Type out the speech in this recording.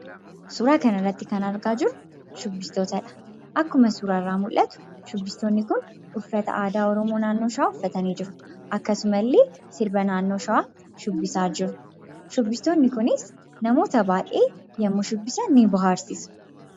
Suuraa kanarratti kan argaa jirru shubbistootqdha. Akkuma suuraa irraa mul'atu shubbistoonni kun uffata aadaa Oromoo naannoo Shawaa uffatanii jiru. Akkasumallee sirba naannoo Shawaa shubbisaa jiru. Shubbistoonni kunis namoota baay'ee yemmuu shubbisan ni bohaarsu.